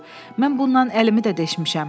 Mən bundan əlimi də deşmişəm.